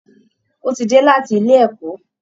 Ó ti dé láti ilé ẹ̀kọ́